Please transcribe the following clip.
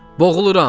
Boğuluram!